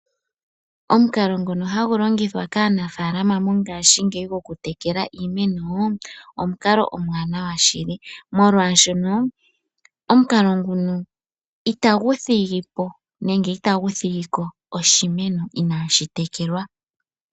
Omukalo nguno hagu longithwa kaanafalama mongashingeyi gokutekela iimeno omukalo omwaanawa shili , molwashoka omukalo nguno itagu thigi po nenge itagu thigi ko oshimeno inaashi tekelwa.